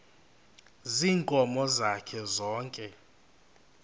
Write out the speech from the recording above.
ziinkomo zakhe zonke